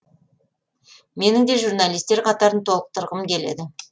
менің де журналисттер қатарын толықтырғым келеді